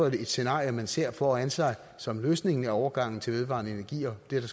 et scenarie man ser for sig som løsningen overgangen til vedvarende energier det der